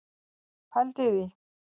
Pældu í því.